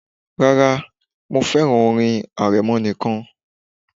Rárá, mo fẹ́ràn orin arẹmọ nìkan